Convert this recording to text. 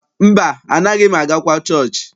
Mba, anaaghị m agakwa chọọchị.